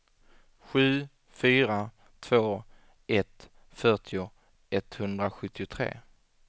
sju fyra två ett fyrtio etthundrasjuttiotre